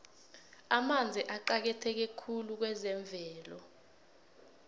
amanzi aqakatheke khulu kwezemvelo